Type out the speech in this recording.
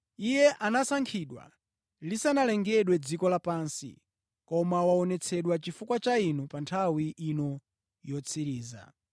Iye anasankhidwa lisanalengedwe dziko lapansi, koma waonetsedwa chifukwa cha inu pa nthawi ino yotsiriza.